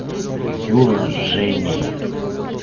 юра с женей